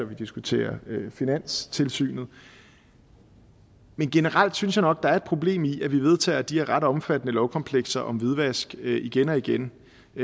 vi diskuterer finanstilsynet men generelt synes jeg nok at der er et problem i at vi vedtager de her ret omfattende lovkomplekser om hvidvask igen og igen